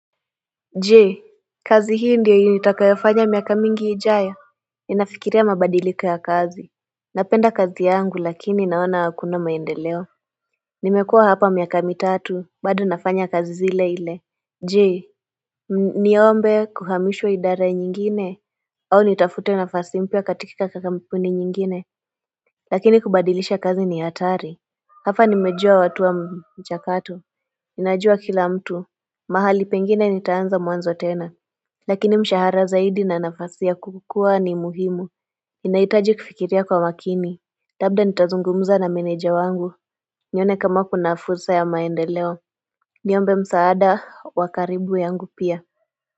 Jee kazi hii ndiyo nitakayofanya miaka mingi ijayao Ninafikiria mabadiliku ya kazi Napenda kazi yangu lakini naona hakuna maendeleo Nimekua hapa miaka mitatu bado nafanya kazi ile ile Jee niombe kuhamishwa idara nyingine au nitafute nafasi mpya katika kampuni nyingine Lakini kubadilisha kazi ni atari Hapa nimejua watu wa mchakato Ninajua kila mtu mahali pengine nitaanza mwanzo tena Lakini mshahara zaidi na nafasi ya kukua ni muhimu inahitaji kufikiria kwa makini Labda nitazungumza na meneja wangu nione kama kuna fursa ya maendeleo Niombe msaada wa karibu yangu pia.